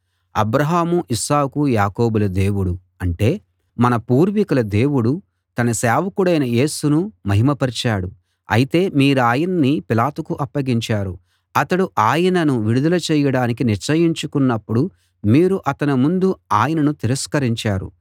అబ్రాహాము Isaac యాకోబుల దేవుడు అంటే మన పూర్వికుల దేవుడు తన సేవకుడైన యేసును మహిమ పరిచాడు అయితే మీరాయన్ని పిలాతుకు అప్పగించారు అతడు ఆయనను విడుదల చేయడానికి నిశ్చయించుకున్నపుడు మీరు అతని ముందు ఆయనను తిరస్కరించారు